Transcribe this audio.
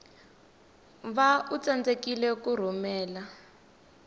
va u tsandzeka ku rhumela